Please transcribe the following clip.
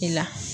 I la